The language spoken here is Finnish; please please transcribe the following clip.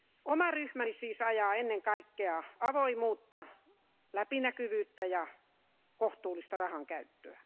Oma ryhmäni siis ajaa ennen kaikkea avoimuutta, läpinäkyvyyttä ja kohtuullista rahankäyttöä.